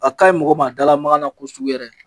A ka ɲi yin mɔgɔ ma da lamaka na kosɛbɛ yɛrɛ.